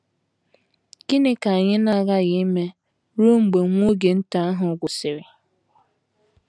Gịnị ka anyị na - aghaghi ime ruo mgbe “ nwa oge nta ” ahụ gwụsịrị?